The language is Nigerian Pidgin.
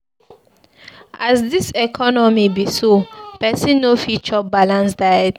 As dis economy be so, pesin no fit chop balanced diet o.